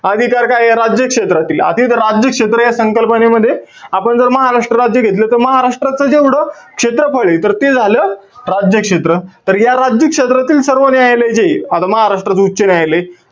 अधिकार काये? राज्य क्षेत्रातील. आता तिथं राज्यक्षेत्र या संकल्पनेमध्ये आपण जर महाराष्ट्र राज्य घेतलं. तर महाराष्ट्राचं जेवढं क्षेत्रफळे, तर ते झालं राज्यक्षेत्र. तर या राज्यक्षेत्रातील सर्व न्यायालय जे आहे, आता महाराष्ट्राचं उच्च न्यायालय,